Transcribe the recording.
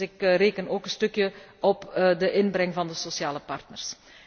Dus ik reken ook een beetje op de inbreng van de sociale partners.